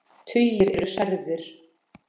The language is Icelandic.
Tugir eru særðir.